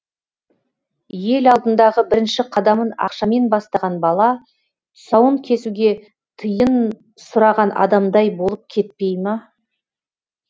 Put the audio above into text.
ел алдындағы бірінші қадамын ақшамен бастаған бала тұсауын кесуге тиын сұраған адамдай болып кетпей ма